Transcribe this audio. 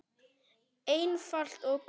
Einfalt og gott.